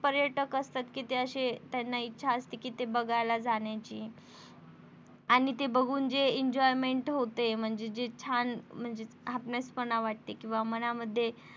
पर्यटक असतात कि ते अशे त्यांना इच्छा असते कि ते बघायला जाण्याची आणि ते बघून जे enjoyment होते म्हणजे जे छान म्हणजे वाटेत किंवा मनामध्ये